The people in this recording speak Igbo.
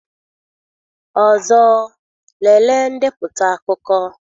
Ọzọ, lelee ndepụta akụkọ.